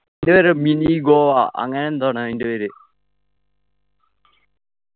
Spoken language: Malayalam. പേര് mini ഗോവ അങ്ങനെ എന്തോ ആണ് അയിൻ്റെ പേര്